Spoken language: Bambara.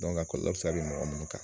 a kɔlɔlɔ bɛ se don mɔgɔ munnu kan.